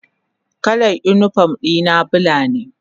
Kalar unipom dina bula ne.